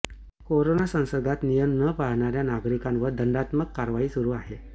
corona संसर्गात नियम न पाळणाऱ्या नागरिकांवर दंडात्मक कारवाई सुरू आहे